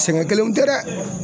Sɛgɛn kelenw tɛ dɛ.